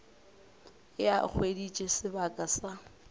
ge a hweditše sebaka sa